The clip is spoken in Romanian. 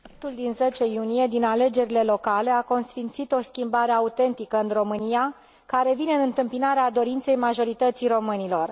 Rezultatele din 10 iunie de la alegerile locale au consfințit o schimbare autentică în România, care vine în întâmpinarea dorinței majorității românilor.